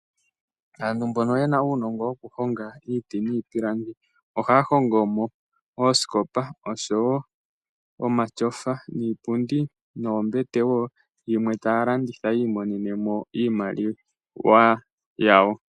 Aanuunongo yokuhonga iiti niipilandi ohaya hongo mo oosikopa, osho woo omatyofa, iipundi noombete woo. Ohaye yi landitha yi imonene mo iimaliwa yawo.